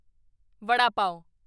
ਵਡਾ ਪਾਵ